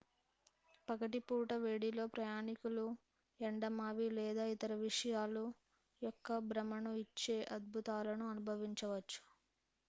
పగటి పూట వేడిలో ప్రయాణికులు ఎండమావి లేదా ఇతర విషయాలు యొక్క భ్రమను ఇచ్చే అద్భుతాలను అనుభవించవచ్చు